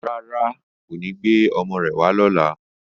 Rárá, kò ní gbé ọmọ rẹ̀ wá lọ́la